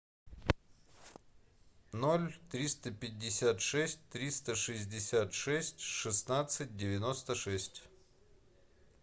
ноль триста пятьдесят шесть триста шестьдесят шесть шестнадцать девяносто шесть